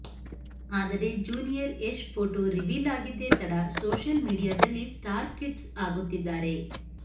ಆದರೆ junior Yash photo reveal ಆಗಿದ್ದೇ ತಡ ಸೋಷಿಯಲ್ ಮೀಡಿಯಾದಲ್ಲಿ ಸ್ಟಾರ್ ಕಿಡ್ಸ್ ಆಗುತ್ತಿದ್ದಾರೆ